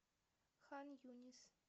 хан юнис